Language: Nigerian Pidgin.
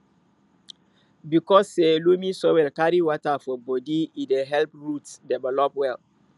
because say loamy soil carry water for bodi e dey help roots develop well